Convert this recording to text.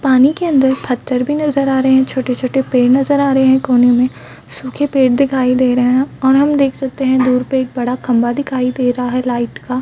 पानी के अन्दर पत्थर भी नज़र आ रहे है छोटे-छोटे पेड़ नज़र आ रहे है कोने में सूखे पेड़ दिखाई दे रहे है और हम देख सकते है दूर पे एक बड़ा सा खम्भा दिखाई दे रहा है लाइट का--